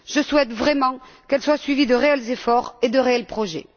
Je souhaite vraiment qu'elles soient suivies de réels efforts et de réels projets.